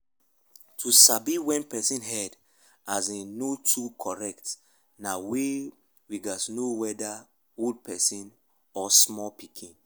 to sabi when person head as in no too correct na weyth we gats know weda old person weda old person or small pikin